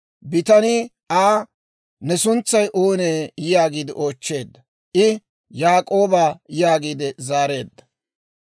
Bitanii Aa, «Ne suntsay oonee?» yaagiide oochcheedda. I, «Yaak'ooba» yaagiide zaareedda.